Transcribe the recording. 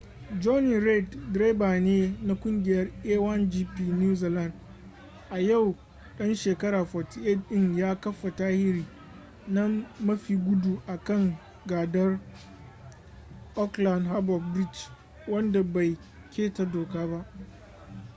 jonny reid direba ne na kungiyar a1gp new zealand a yau dan shekara 48 din ya kafa tarihi na mafi gudu a kan gadar aukland harbor bridge wanda bai keta doka ba